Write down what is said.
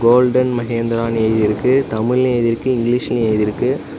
Golden மஹேந்திரானு எழுதிருக்கு தமிழ்லயும் எழுதிருக்கு இங்கிலிஷ்லயும் எழுதிருக்கு.